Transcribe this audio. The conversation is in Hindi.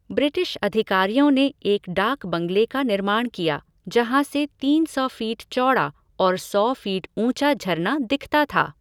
ब्रिटिश अधिकारियों ने एक डाक बंगले का निर्माण किया जहाँ से तीन सौ फ़ीट चौड़ा और सौ फ़ीट ऊँचा झरना दिखता था।